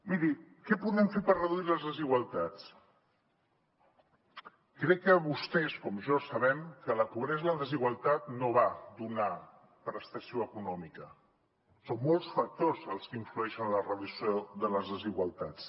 miri què podem fer per reduir les desigualtats crec que vostès com jo sabem que la pobresa i la desigualtat no van d’una prestació econòmica són molts factors els que influeixen en la reducció de les desigualtats